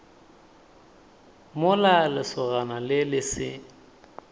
mola lesogana le le se